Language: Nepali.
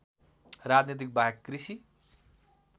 राजनीति बाहेक कृषि